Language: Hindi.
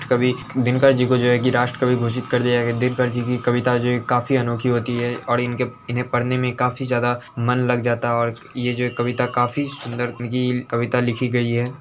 कवि दिनकर जी को जो है की राष्ट्रकवि घोषित कर दिया गया | दिनकर जी की कविता जो है काफी अनोखी होती है और इनके इन्हें पढ़ने में काफी ज्यादा मन लग जाता है| और ये जो कविता का काफी सुंदर तरीके से कविता लिखी गयी है।